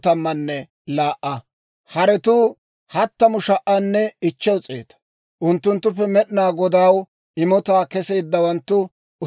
Mac'c'a asatuu 16,000; unttunttuppe Med'inaa Godaw imotaa kesseeddawanttu, 32.